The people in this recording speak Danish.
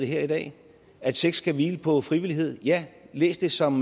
her i dag at sex skal hvile på frivillighed ja læs det som